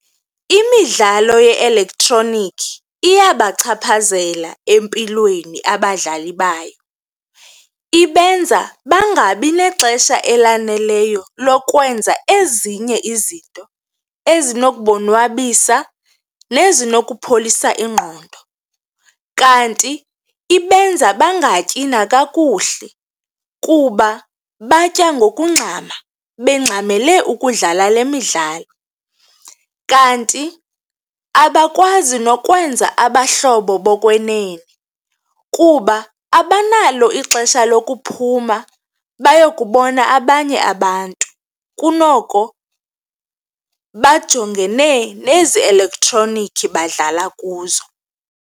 Imidlalo ye-elektroniki iyabachaphazela empilweni abadlali bayo, ibenza bangabi nexesha elaneleyo lokwenza ezinye izinto ezinokubonwabisa nezi nokupholisa ingqondo. Kanti ibenza bangatyi nakakuhle kuba batya ngokungxama, bengxamele ukudlala le midlalo kanti abakwazi nokwenza abahlobo bokwenene kuba abanalo ixesha lokuphuma bayakubona abanye abantu, kunoko bajongene nezi elektroniki badlala kuzo.